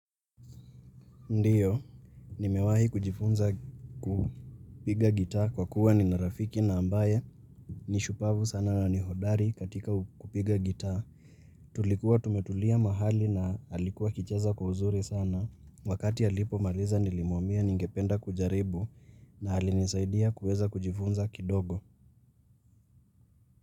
Ndiyo, nimewahi kujifunza kupiga gitaa kwa kuwa nina rafiki na ambaye ni shupavu sana na ni hodari katika kupiga gitaa. Tulikuwa tumetulia mahali na alikuwa akicheza kwa uzuri sana. Wakati halipo maliza nilimuambia ningependa kujaribu na alinisaidia kuweza kujifunza kidogo.